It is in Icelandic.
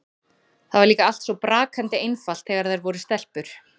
Það var líka allt svo brakandi einfalt þegar þær voru stelpur.